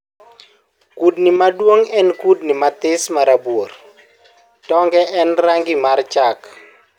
kudni maduong en kudni mathis marabuor; tonge en rangi mar chak.